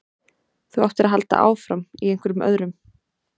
Þú áttir að halda áfram, í einhverjum öðrum.